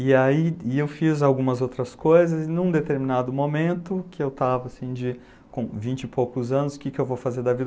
E aí eu fiz algumas outras coisas e num determinado momento, que eu estava com vinte e poucos anos, o que eu vou fazer da vida?